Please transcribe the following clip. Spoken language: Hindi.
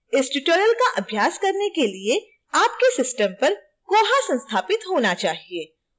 इस tutorial का अभ्यास करने के लिए आपके system पर koha संस्थापित होना चाहिए